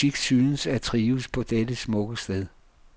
Musik synes at trives på dette smukke sted.